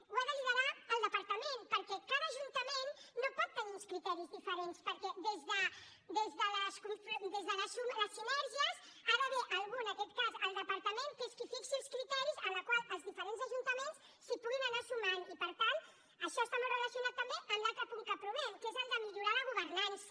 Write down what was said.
ho ha de liderar el departament perquè cada ajuntament no pot tenir uns criteris diferents perquè des de les sinergies hi ha d’haver algú en aquest cas el departament que és qui fixi els criteris als quals els diferents ajuntaments es puguin anar sumant i per tant això està molt relacionat també amb l’altre punt que aprovem que es el de millorar la governança